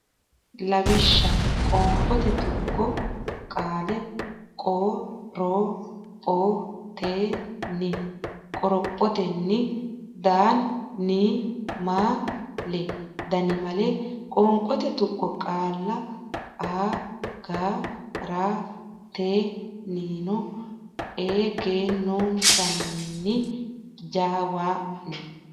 Lawishsha Qoonqote Tuqqo Qaale qo ro pho ten ni qorophotenni dan ni ma le dannimale Qoonqote Tuqqo Qaale a ga ra ten ni no e gen non san ni ja waan.